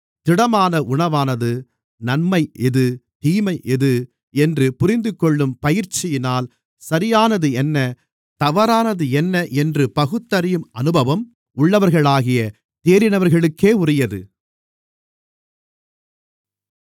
திடமான உணவானது நன்மை எது தீமை எது என்று புரிந்துகொள்ளும் பயிற்சியினால் சரியானது என்ன தவறானது என்ன என்று பகுத்தறியும் அனுபவம் உள்ளவர்களாகிய தேறினவர்களுக்கே உரியது